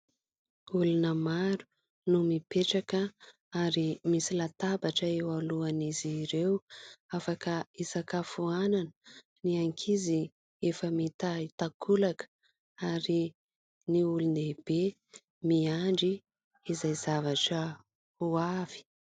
Olona maro no mipetraka ary misy latabatra eo alohan'izy ireo afaka isakafoanana, ny ankizy efa mitahy takolaka ary ny olondehibe miandry izay zavatra ho avy.